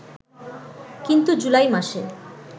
কিন্তু জুলাই মাসে